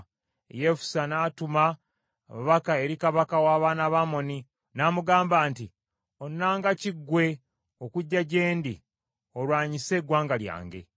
Yefusa n’atuma ababaka eri kabaka w’abaana ba Amoni, ng’amugamba nti, “Onnanga ki ggwe, okujja gye ndi, olwanyise eggwanga lyange?”